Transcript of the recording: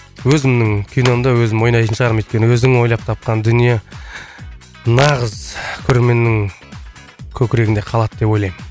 өзімнің киномда өзім ойнайтын шығармын өйткені өзің ойлап тапқан дүние нағыз көрерменнің көкірегінде қалады деп ойлаймын